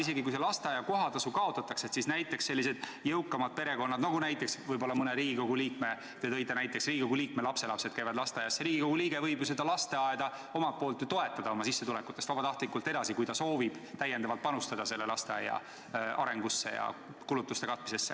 Isegi kui lasteaia kohatasu kaotatakse, siis jõukamad perekonnad – võib-olla mõne Riigikogu liikme perekond, nagu te näiteks tõite, rääkides Riigikogu liikme lastelastest – võivad ju lasteaeda omalt poolt toetada ja vabatahtlikult seda raha edasi maksta, kui soovitakse panustada lasteaia arengusse ja kulutuste katmisesse.